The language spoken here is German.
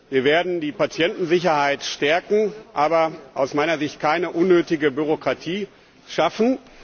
Wir werden die Patientensicherheit stärken, aber aus meiner Sicht keine unnötige Bürokratie schaffen.